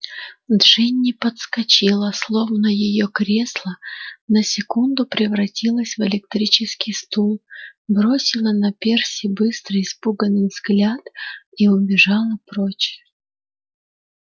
джинни подскочила словно её кресло на секунду превратилось в электрический стул бросила на перси быстрый испуганный взгляд и убежала прочь